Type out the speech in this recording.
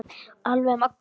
Alveg magnað.